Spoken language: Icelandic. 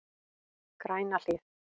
Grænahlíð